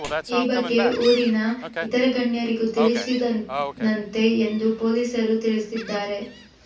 ಈ ಬಗ್ಗೆ ಊರಿನ ಇತರೆ ಗಣ್ಯರಿಗೂ ತಿಳಿಸಿದ್ದನಂತೆ ಎಂದು ಪೊಲೀಸರು ತಿಳಿಸಿದ್ದಾರೆ